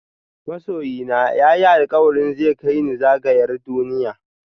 Masoyina ya yi alkawari zai kai ni zagayar duniya.